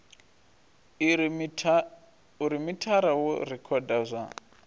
uri mithara wo rekhoda zwa